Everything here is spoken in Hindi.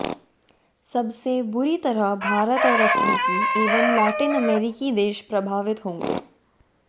सबसे बुरी तरह भारत और अफ्रीकी एवं लैटिन अमेरिकी देश प्रभावित होंगे